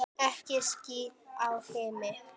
Ekki ský á himni.